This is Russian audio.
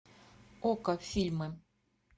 окко фильмы